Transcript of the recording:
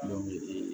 Dɔw bɛ yen